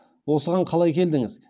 осыған қалай келдіңіз